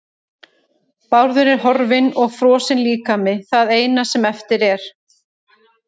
Bárður er horfinn og frosinn líkami það eina sem eftir er.